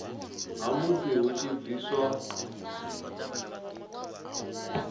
ha musi hu tshi bviswa